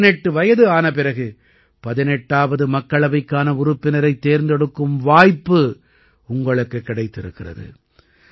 18 வயது ஆன பிறகு 18ஆவது மக்களவைக்கான உறுப்பினரைத் தேர்ந்தெடுக்கும் வாய்ப்பு உங்களுக்குக் கிடைத்திருக்கிறது